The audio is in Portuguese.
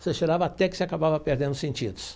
Você cheirava até que você acabava perdendo os sentidos.